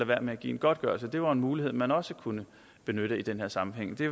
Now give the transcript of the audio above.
være med at give en godtgørelse det var en mulighed man også kunne benytte i den her sammenhæng det